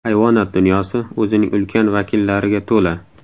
Hayvonot dunyosi o‘zining ulkan vakillariga to‘la.